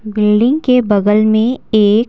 building के बगल में एक --